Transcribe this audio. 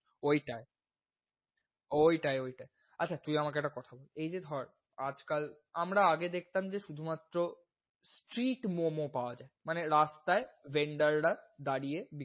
ওইটায়। ওইটায় ওইটায় আচ্ছা তুই আমাকে একটা কথা বল, এই যে ধর আজ কাল আমারা আগে দেখতাম যে শুধুমাত্র street momo পাওয়া যায়। মানে রাস্তায় vender রা দাড়িয়ে,